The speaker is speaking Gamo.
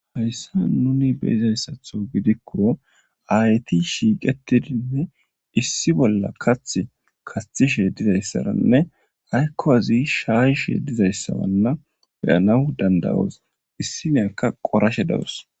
Haysan nun beyizaysatho gidikon ayet shiqetidinne issi bolla kathi kathishe dizaysaranne hanko asy shayishe dizaysara beyanaw danda'os, issiniyaka qorashe dawus .